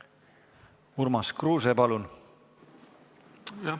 Urmas Kruuse, palun!